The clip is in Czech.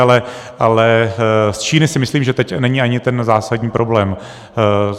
Ale z Číny si myslím, že teď není ani ten zásadní problém.